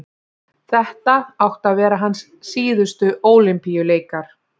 þetta áttu að vera hans síðustu ólympíuleikar